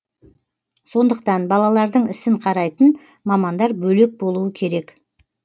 сондықтан балалардың ісін қарайтын мамандар бөлек болуы керек